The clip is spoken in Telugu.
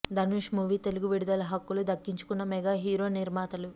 ధనుష్ మూవీ తెలుగు విడుదల హక్కులు దక్కించుకున్న మెగా హీరో నిర్మాతలు